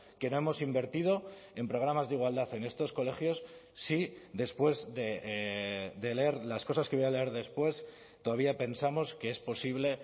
que no hemos invertido en programas de igualdad en estos colegios si después de leer las cosas que voy a leer después todavía pensamos que es posible